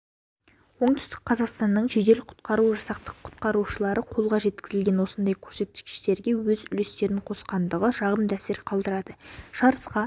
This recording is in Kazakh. оңтүстік қазақстанның жедел-құтқару жасақтың құтқарушылары қолға жеткізген осындай көрсеткіштерге өз үлестерін қосқандығы жағымды әсер қалдырады жарысқа